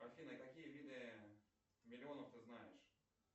афина какие виды миллионов ты знаешь